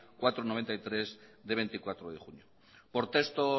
cuatro barra mil novecientos noventa y tres de veinticuatro de junio por texto